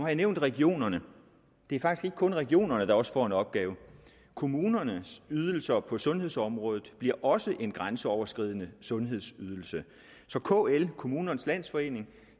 jeg nævnt regionerne det er faktisk ikke kun regionerne der også får en opgave kommunernes ydelser på sundhedsområdet bliver også en grænseoverskridende sundhedsydelse så kl kommunernes landsforening